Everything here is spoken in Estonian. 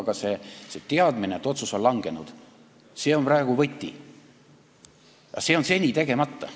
Aga see teadmine, et otsus on langenud, on praegu võti, kuid see on seni tegemata.